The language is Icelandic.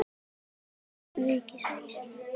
Dagar Ríkis íslams eru taldir.